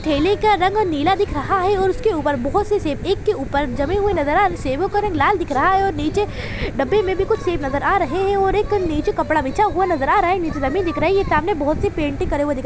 ठेले का रंग नीला दिख रहा है और उसके ऊपर बहुत सी सेब एक के ऊपर जमे हुए नज़र आ रहे है सेबो का रंग लाल दिख रहा है और नीचे डब्बे में भी कुछ सेब नज़र आ रहे है और एक नीचे कपड़ा बिछा हुआ नज़र आ रहा है नीचे ज़मीन दिख रही है सामने बहुत सी पेंटिंग करी हुई दिख है।